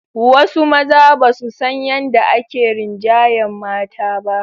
Wasu mazan ba su san yadda ake rinjayar mata ba.